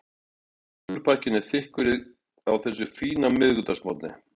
Slúðurpakkinn er þykkur á þessum fína miðvikudagsmorgni.